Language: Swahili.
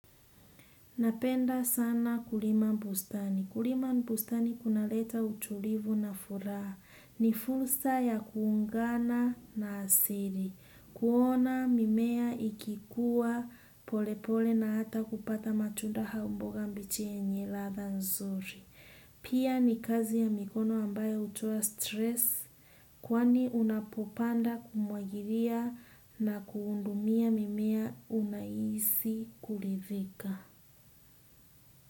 Napenda sana kulima bustani. Kulima bustani kunaleta utulivu na furaha. Ni fursa ya kuungana na asili. Kuona mimea ikikua polepole na hata kupata matunda au mboga mbichi yenye ladha nzuri. Pia ni kazi ya mikono ambayo hutoa stress kwani unapopanda kumwagilia na kuhudumia mimea unahisi kuridhika.